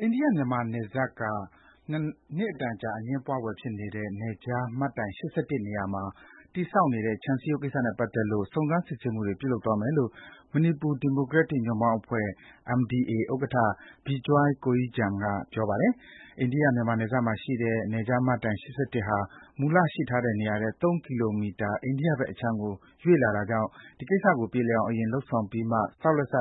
အိန္ဒိယ-မြန်မာ နယ်စပ်က နှစ်အတန်ကြာ အငြင်းပွားဖွယ်ဖြစ်နေတဲ့ နယ်ခြားမှတ်တိုင် ၈၁ နေရာမှာ တည်ဆောက်နေတဲ့ခြံစည်းရုံးကိစ္စနဲ့ ပတ်သက်လို့ စုံစမ်း စစ်ဆေးမှုတွေ ပြုလုပ်သွားမယ်လို့ မဏိပူဒီမိုကရက်တစ်ညွန့်ပေါင်းအဖွဲ့ - MDA ဥက္ကဌ Bijoy Koijam ကပြောကြားလိုက်ပါတယ်။ အိန္ဒိယ-မြန်မာ နယ်စပ်မှာရှိတဲ့ နယ်ခြားမှတ်တိုင် ၈၁ ဟာ မူလရှိထားတဲ့နေရာထက် ၃ ကီလိုမီတာ အိန္ဒိယဘက်အခြမ်းကိုရွေ့လာတာကြောင့် အဲဒီကိစ္စကို ပြေလည်အောင် အရင် လုပ်ဆောင်ပြီးမှ ဆောက်လက်စ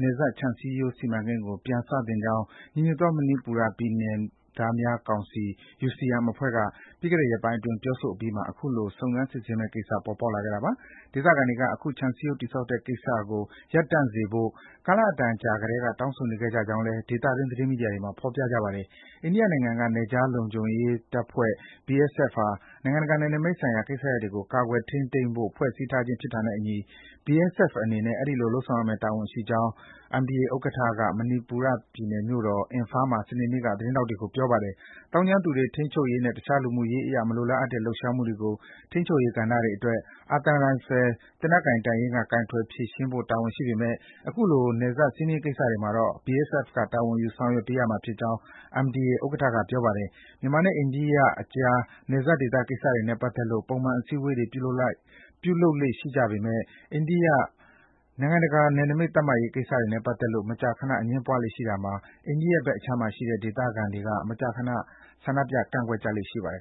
နယ်စပ်ခြံစည်းရိုး စီမံကိန်းကို ပြန်စသင့်ကြောင်း ညီညွတ်သောမဏိပူရပြည်နယ်သားများကော်မီတီ - UCM အဖွဲ့က ပြီးခဲ့တဲ့ရက်ပိုင်းအတွင်း ပြောဆိုအပြီးမှာ အခုလို စုံစမ်း စစ်ဆေးမယ့်ကိစ္စ ပေါ်ပေါက်လာခဲ့တာပါ။ ဒေသခံတွေက အခုခြံစည်းရိုးတည်ဆောက်တဲ့ကိစ္စကို ရပ်တန့်ပေးဖို့ ကာလအတန်ကြာကတည်းက တောင်းဆိုနေခဲ့ကြကြောင်းလည်း ဒေသတွင်း သတင်းမီဒီယာတွေမှာ ဖော်ပြကြပါတယ်။ အိန္ဒိယနိုင်ငံက နယ်ခြားလုံခြုံရေးတပ်ဖွဲ့ - BSF ဟာ နိုင်ငံတကာနယ်နိမိတ်ဆိုင်ရာကိစ္စရပ်တွေကို ကာကွယ် ထိန်းသိမ်းဖို့ ဖွဲ့စည်းထားခြင်း ဖြစ်တာနဲ့အညီ BSF အနေနဲ့ အဲဒီလို လုပ်ဆောင်ရမယ့်တာဝန်ရှိကြောင်း MDA ဥက္ကဌ Bijoy Koijam က မဏိပူရပြည်နယ်မြို့တော် Imphal မှာ စနေနေ့က သတင်းထောက်တွေကို ပြောပါတယ်။ သောင်းကျန်းသူတွေ ထိန်းချုပ်ရေးနဲ့ တခြား လူမှုရေးအရ မလိုလားအပ်တဲ့ လှုပ်ရှားမှုတွေကို ထိန်းချုပ်ရေးကဏ္ဍတွေအတွက် အာသံရိုင်ဖယ် သေနတ်ကိုင်တပ်ရင်းက ကိုင်တွယ် ဖြေရှင်းပေးဖို့ တာဝန်ရှိပေမယ့် အခုလို နယ်စပ်စည်းမျဉ်းကိစ္စမှာတော့ BSF က တာဝန်ယူဆောင်ရွက်ပေးရမှာဖြစ်ကြောင်း MDA ဥက္ကဌက ပြောပါတယ်။ မြန်မာနဲ့အိန္ဒိယအကြား နယ်စပ်ဒေသကိစ္စတွေနဲ့ပတ်သက်လို့ ပုံမှန် အစည်းဝေးတွေ ပြုလုပ်လေ့ ရှိပေမယ့် နိုင်ငံတကာ နယ်နိမိတ်သတ်မှတ်ရေး ကိစ္စနဲ့ပတ်သက်လို့ မကြာခန အငြင်းပွားကြလေ့ရှိတာမှာ အိန္ဒိယဘက်အခြမ်းမှာရှိတဲ့ ဒေသခံတွေက မကြာခဏ ဆန္ဒပြ ကန့်ကွက်ကြလေ့ ရှိပါတယ်